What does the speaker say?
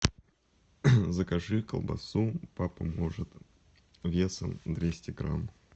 закажи колбасу папа может весом двести грамм